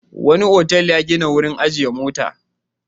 Wani otal ya gina wurin ajiye motoci.